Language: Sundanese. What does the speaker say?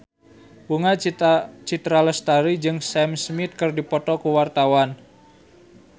Bunga Citra Lestari jeung Sam Smith keur dipoto ku wartawan